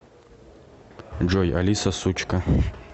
джой алиса сучка